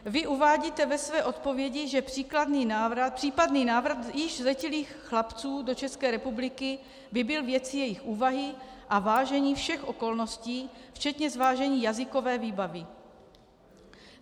Vy uvádíte ve své odpovědi, že případný návrat již zletilých chlapců do České republiky by byl věcí jejich úvahy a vážení všech okolností včetně zvážení jazykové výbavy.